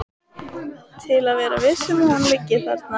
Til að vera viss um að hún liggi þarna.